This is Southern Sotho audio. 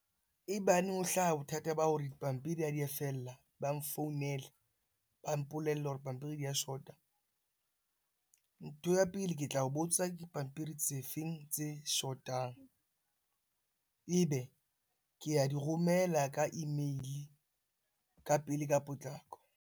Ebaneng ho hlaha bothata ba hore dipampiri ha di a fella, ba nfounele ba mpolelle hore pampiri di a shota. Ntho ya pele, ke tla o botsa dipampiri tse feng tse shotang? Ebe ke a di romela ka email-e ka pele ka potlako.